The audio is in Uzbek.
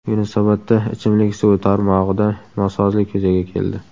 Yunusobodda ichimlik suvi tarmog‘ida nosozlik yuzaga keldi.